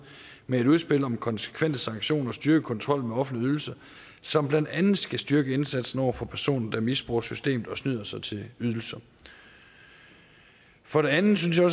med et udspil om konsekvente sanktioner og styrket kontrol med offentlige ydelser som blandt andet skal styrke indsatsen over for personer der misbruger systemet og snyder sig til ydelser for det andet synes jeg